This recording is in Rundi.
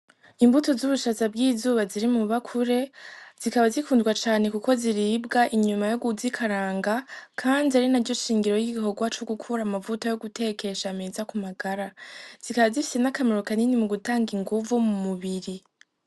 Imbuto z'ubwishaza bw'izuba buri mu bakure ,zikaba zikundwa cane kuko ziribwa inyuma yo kuzikaranga ,kandi ari naryo shingiro ryi gikorwa co gukora amavuta yo gutekesha meza ku magara, zikaba zifise n'akamaro kanini mu gutanga inguvu mu mubiri.